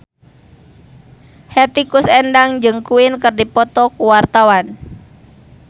Hetty Koes Endang jeung Queen keur dipoto ku wartawan